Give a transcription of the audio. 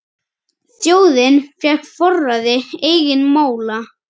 Þjóðin fékk forræði eigin mála.